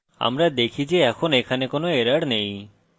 আমরা দেখি যে এখন এখানে কোনো error নেই